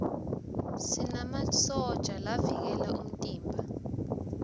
sinmasotja lavikela umtimba